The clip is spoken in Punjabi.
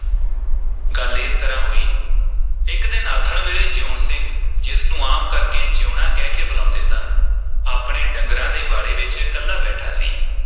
ਗੱਲ ਇਸ ਤਰ੍ਹਾਂ ਹੋਈ, ਇਕ ਦਿਨ ਆਥਣ ਵੇਲੇ ਜੀਊਣ ਸਿੰਘ ਜਿਸ ਨੂੰ ਆਮ ਕਰਕੇ ਜੀਊਣਾ ਕਹਿ ਕੇ ਬੁਲਾਉਂਦੇ ਸਨ, ਆਪਣੇ ਡੰਗਰਾਂ ਦੇ ਵਾੜੇ ਵਿਚ ਇਕੱਲਾ ਬੈਠਾ ਸੀ।